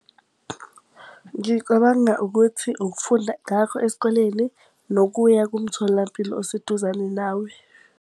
Ngicabanga ukuthi ukufunda ngakho esikoleni, nokuya kumtholampilo oseduzane nawe.